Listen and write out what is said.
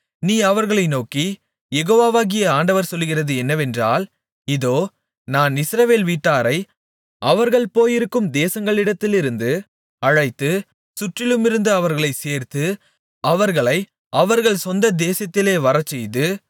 நீ அவர்களை நோக்கி யெகோவாகிய ஆண்டவர் சொல்லுகிறது என்னவென்றால் இதோ நான் இஸ்ரவேல் வீட்டாரை அவர்கள் போயிருக்கும் தேசங்களிடத்திலிருந்து அழைத்து சுற்றிலுமிருந்து அவர்களைச் சேர்த்து அவர்களை அவர்கள் சொந்த தேசத்திலே வரச்செய்து